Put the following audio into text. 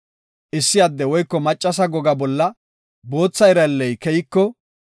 “Issi adde woyko maccasa goga bolla bootha iralley keyiko,